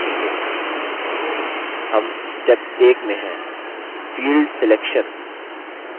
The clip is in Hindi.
हम step 1 में हैंfield selection